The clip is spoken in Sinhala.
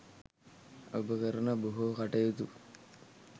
ඔබ කරන බොහෝ කටයුතු